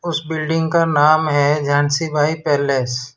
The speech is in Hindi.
उस बिल्डिंग का नाम है झांसी भाई पैलेस --